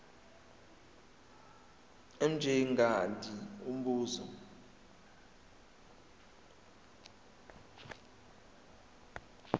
mj mngadi umbuzo